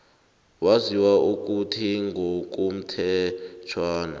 waziswa ukuthi ngokomthetjhwana